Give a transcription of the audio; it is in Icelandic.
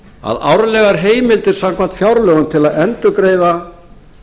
að árlegar heimildir samkvæmt fjárlögum til að endurgreiða